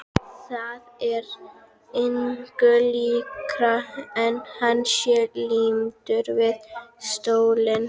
Það er engu líkara en hann sé límdur við stólinn.